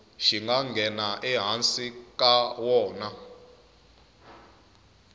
xi nga ehansi ka wona